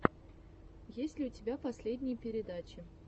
есть ли у тебя последние передачи